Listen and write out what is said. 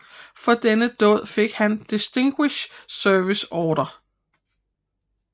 For denne dåd fik han Distinguished Service Order